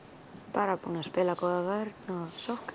bara vel búnir að spila góða vörn og sókn